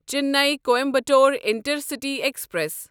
Chennai Coimbatore intercity express